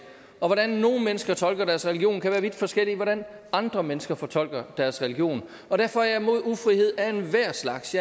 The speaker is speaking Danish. og hvordan nogle mennesker tolker deres religion kan være vidt forskellig fra hvordan andre mennesker tolker deres region og derfor er jeg imod ufrihed af enhver slags